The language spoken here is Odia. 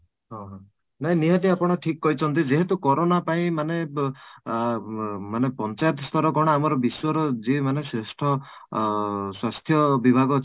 ହଁ, ହଁ ନାଇଁ ନିହାତି ଆପଣ ଠିକ କହିଛନ୍ତି ଯେହେତୁ corona ପାଇଁ ମାନେ ଆଁ ଉଁ ମାନେ ପଞ୍ଚାୟତ ସ୍ତର କ'ଣ ଆମର ବିଶ୍ୱ ର ଯିଏ ମାନେ ଶ୍ରେଷ୍ଠ ଅଂ ସ୍ୱାସ୍ଥ୍ୟ ବିଭାଗ